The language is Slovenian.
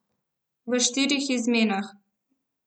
V štirih izmenah.